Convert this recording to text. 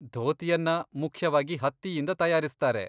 ಧೋತಿಯನ್ನ ಮುಖ್ಯವಾಗಿ ಹತ್ತಿಯಿಂದ ತಯಾರಿಸ್ತಾರೆ.